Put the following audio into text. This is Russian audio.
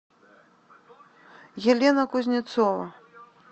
елена кузнецова